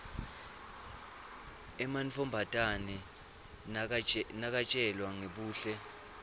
emantfombatane nakatjelwa ngebuhle